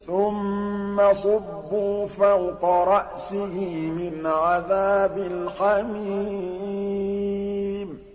ثُمَّ صُبُّوا فَوْقَ رَأْسِهِ مِنْ عَذَابِ الْحَمِيمِ